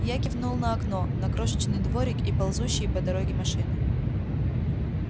я кивнул на окно на крошечный дворик и ползущие по дороге машины